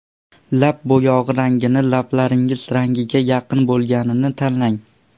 Lab bo‘yog‘i rangini lablaringiz rangiga yaqin bo‘lganini tanlang.